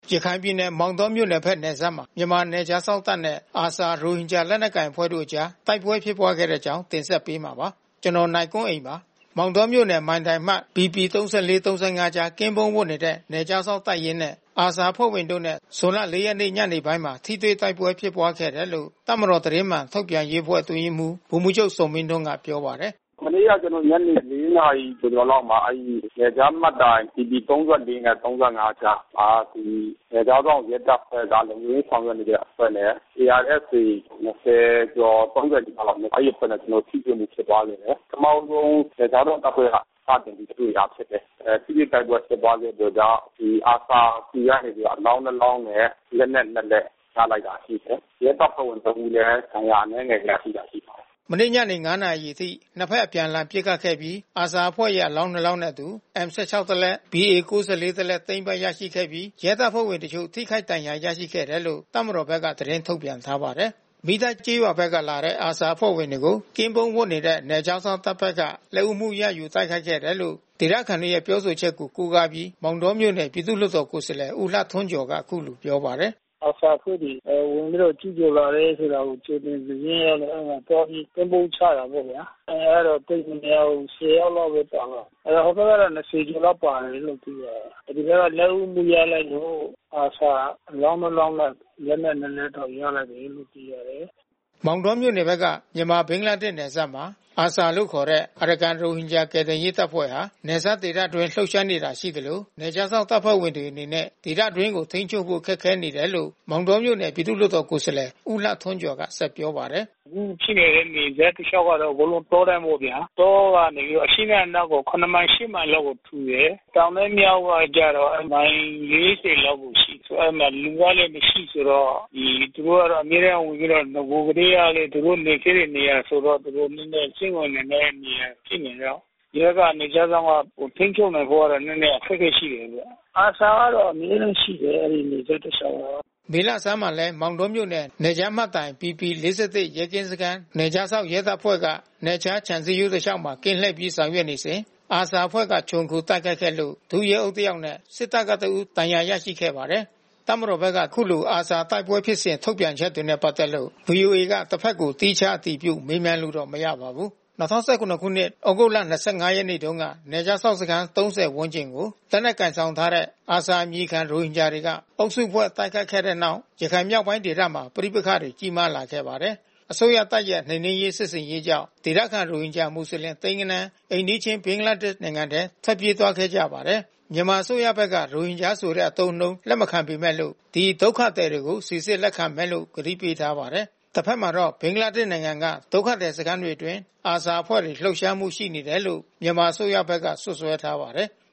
ရခိုင်ပြည်နယ် မောင်တောမြို့နယ်ဘက်နယ်စပ်မှာ မြန်မာနယ်ခြားစောင့်တပ်နဲ့ ARSA ရိုဟင်ဂျာလက်နက်ကိုင် အဖွဲ့တို့အကြား တိုက်ပွဲဖြစ်ပွားခဲ့တဲ့အကြောင်းကို ဗွီအိုအေမြန်မာပိုင်း သတင်းထောက် ကိုနိုင်ကွန်းအိန်က တင်ဆက်ပေးမှာပါ။ မောင်တောမြို့နယ် နယ်ခြားမှတ်တိုင် BP 34/35 ကြား ကင်းပုန်းဝပ်နေတဲ့ နယ်ခြားစောင့်တပ်ရင်းနဲ့ ARSA အဖွဲ့ဝင်တို့နဲ့ ဇွန်လ ၄ ရက်ညနေပိုင်းမှာ ထိတွေ့တိုက်ပွဲဖြစ်ပွားခဲ့တယ်လို့ တပ်မတော် သတင်းမှန်ထုတ်ပြန်ရေးအတွင်းရေးမှူး ဗိုလ်မှူးချုပ်ဇော်မင်းထွန်းက ပြောပါတယ်။ “မနေ့က ကျနော်တို့ ညနေ ၄ နာရီကျော်ကျော်လောက်မှာ နယ်ခြားမှတ်တိုင် BP 34 နဲ့ 35 ကြားမှာ နယ်ခြားစောင့် ရဲတပ်ဖွဲ့က လုံခြုံရေးဆောင်ရွက်နေတဲ့အဖွဲ့နဲ့ ARSA ၂၀ ကျော် ၃၀ နီးပါးလောက်။ အဲဒီအဖွဲ့နဲ့ ကျနော်တို့ ထိတွေ့မှု ဖြစ်ပွားခဲ့တယ်။ ပထမဦးဆုံး နယ်ခြားစောင့်တပ်ဖွဲ့က စတင်ပြီးတွေ့တာဖြစ်တယ်။ ထိတွေ့တိုက်ပွဲဖြစ်ပွားခဲ့ပြီးတော့က ဒီ ARSA ဆီကနေအလောင်း နှစ် လောင်းရယ်။ လက်နက် နှစ် လက် ရလိုက်တာရှိတယ်။ ရဲတပ်ဖွဲ့ဝင်တဦးလည်း ဒဏ်ရာအနည်းငယ် ရလိုက်တာရှိတယ်။” မနေ့ညနေ ၅ နာရီအချိန်အထိ နှစ်ဘက် အပြန်အလှန်ပစ်ခတ်ပြီး ARSA အဖွဲ့ရဲ့ အလောင်းနှစ်လောင်းနှင့်အတူ M-16 တစ်လက် BA-94 တစ်လက် သိမ်းပိုက်ရရှိခဲ့ပြီး ရဲတပ်ဖွဲ့ဝင်အချို့ ထိခိုက်ဒဏ်ရာ ရရှိခဲ့တယ်လို့ တပ်မတော်ဘက်က သတင်းထုတ်ပြန်ထားပါတယ်။ မီးတိုက်ကျေးရွာဘက်ကနေလာတဲ့ ARSA အဖွဲ့ဝင်တွေကို ကင်းပုန်းဝပ်နေတဲ့ နယ်ခြားစောင့်တပ်ဘက်က လက်ဦးမှုရယူ တိုက်ခိုက်ခဲ့တယ်လို့ ဒေသခံတွေရဲ့ပြောဆိုချက်ကို ကိုးကားပြီး မောင်တောမြို့နယ် ပြည်သူ့လွှတ်တော် ကိုယ်စားလှယ် ဦးလှထွန်းကျော်က အခုလိုပြောပါတယ်။ “ARSA အဖွဲ့က ဝင်ပြီးတော့ ကျူးကျော်လာတယ်ဆိုတာ ကြိုတင်သတင်းသိရလို့ သွားပြီးကင်းပုန်းချတာပေါ့ဗျာ။ အင်အားတော့ သိပ်မများဘူး ၁၀ ယောက်လောက်ပဲပါတယ်။ ဟိုဘက်ကတော့ ၂၀ ကျော်လောက်ပါတယ်လို့သိရတယ်။ ဒီဘက်က လက်ဦးမှု ရလိုက်လို့ ARSA အလောင်းနှစ်လောင်းနဲ့ လက်နက် နှစ်လက်ရလိုက်တယ်လို့ သိရတယ်။” မောင်တောမြို့နယ်က မြန်မာ - ဘင်္ဂလားဒေ့ရှ်နယ်စပ်မှာ ARSA လို့ခေါ်တဲ့ အရကန်ရိုဟင်ဂျာကယ်တင်ရေးတပ်ဖွဲ့ဟာ နယ်စပ်ဒေသအတွင်းလှုပ်ရှားနေတာ ရှိသလို နယ်ခြားစောင့်တပ်ဖွဲ့တွေအနေနဲ့ ဒေသတွင်းကို ထိန်းချုပ်ဖို့ ခက်ခဲနေတယ်လို့ မောင်တောမြို့နယ်ပြည်သူ့လွှတ်တော်ကိုယ်စားလှယ် ဦးလှထွန်းကျော်ကပြောပါတယ်။ “အခုဖြစ်နေတဲ့ နယ်စပ်တလျှောက်က အကုန်လုံးတောတန်းပေါ့ဗျာ။ တောကနေပြီးတော့ အရှေ့နဲ့အနောက်ကို ၇ မိုင်၊ ၈ မိုင်လောက်ကို ထူတယ်။ တောင်နဲ့ မြောက်ကကျတော့ မိုင် ၄၀ လောက်ကိုရှိတယ်။ အဲဒီမှာ လူကလည်း မရှိဘူးဆိုတော့ သူတို့ကတော့ အမြဲတန်းဝင်ပြီးတော့ နဂိုလ်ကတည်းက သူတို့နေခဲ့တဲ့နေရာဆိုတော့ သူတို့ နည်းနည်းစိမ့်ဝင်နေတဲ့ နေရာဖြစ်နေတော့ ရဲက နယ်ခြားစောင့်က ထိန်းချုပ်နိုင်ဖို့ကတော့ နည်းနည်းအခက်ခဲရှိတယ်ဗျ။ ARSA ကတော့ အမြဲတမ်းရှိတယ် အဲဒီ နယ်စပ်တလျှောက်မှာ။” မေလဆန်းမှာလည်း မောင်တောမြို့နယ် နယ်ခြားမှတ်တိုင် BP ၄၁ ရဲကင်းစခန်း နယ်ခြားစောင့် ရဲတပ်ဖွဲ့က နယ်ခြားခြံ စည်းရိုးတလျှောက်မှာ ကင်းလှည့်ပြီး ဆောင်ရွက်နေစဉ် ARSA အဖွဲ့က ခြုံခိုတိုက်ခိုက်ခဲ့လို့ ဒုရဲအုပ်တယောက်နဲ့ စစ်တပ်ကတဦး ဒဏ်ရာရခဲ့ပါတယ်။ တပ်မတော်ဘက်က အခုလို ARSA တိုက်ပွဲဖြစ်စဉ် ထုတ်ပြန်ချက်တွေနဲ့ ပတ်သက်လို့ ဗွီအိုအေက တဘက်ကို သီးခြားအတည်ပြုမေးမြန်းလို့တော့ မရပါဘူး။ ၂၀၁၇ သြဂုတ်လ ၂၅ ရက်နေ့တုန်းကနယ်ခြားစောင့်စခန်း ၃၀ ဝန်းကျင်ကို လက်နက်ကိုင်ဆောင်ထားတဲ့ ARSA အမည်ခံ ရိုဟင်ဂျာတွေက အုပ်စုဖွဲ့ တိုက်ခိုက်ခဲ့တဲ့နောက် ရခိုင်မြောက်ပိုင်းဒေသမှာ ပဋိပက္ခတွေ ကြီးမားခဲ့ပါတယ်။ အစိုးရတပ်ရဲ့ နှိမ်နင်းရေးစစ်ဆင်ရေးကြောင့် ဒေသခံ ရိုဟင်ဂျာမွတ်လင် သိန်းဂဏန်း အိမ်နီးချင်း ဘင်္ဂလားဒေ့ရ်ှထဲ ထွက်ပြေးသွားခဲ့ကြပါတယ်။ မြန်မာအစိုးရဘက်က ရိုဟင်ဂျာဆိုတဲ့အသုံးအနှုန်းကို လက်မခံပေမဲ့လို့ ဒီ ဒုက္ခသည်တွေကို စိစစ်လက်ခံမယ်လို့ ဂတိပေးထားပါတယ်။ တဘက်မှာတော့ ဘင်္ဂလားဒေ့ရ်ှက ဒုက္ခသည်စခန်းတွေအတွင်း ARSA အဖွဲ့ လှုပ်ရှားမှုတွေရှိတယ်လို့ မြန်မာအစိုးရဘက်က စွပ်စွဲထားပါတယ်။